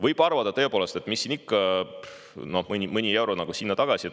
Võib arvata, et tõepoolest, mis siin ikka, mõni euro sinna või tagasi.